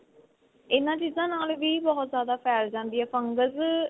ਇਹਨਾ ਚੀਜ਼ਾ ਨਾਲ ਵੀ ਬਹੁਤ ਜਿਆਦਾ ਫ਼ੈਲ ਜਾਂਦੀ ਏ fungus